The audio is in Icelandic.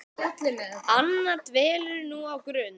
Anna dvelur nú á Grund.